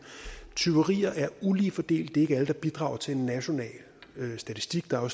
tyverier er ulige fordelt det er ikke alle der bidrager til en national statistik der er